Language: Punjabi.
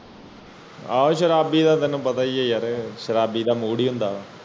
ਏਹੋ ਸ਼ਰਾਬੀ ਦਾ ਤੈਨੂੰ ਪਤਾ ਹੀ ਹੈ ਯਾਰ ਸ਼ਰਾਬੀ ਤਾ ਮੁੜੀ ਹੁੰਦਾ ਹੈ